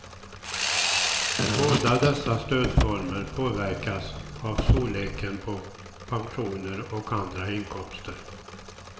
Båda dessa stödformer påverkas av storleken på pensioner och andra inkomster.